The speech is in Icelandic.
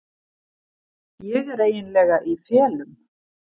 Ég er eiginlega í felum.